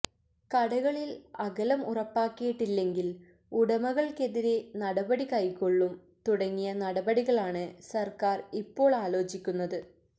കടകളില് അകലം ഉറപ്പാക്കിയിട്ടില്ലെങ്കില് ഉടമകള്ക്കെതിരെ നടപടി കൈകൊള്ളും തുടങ്ങിയ നടപടികളാണ് സര്ക്കാര് ഇപ്പോള് ആലോചിക്കുന്നത്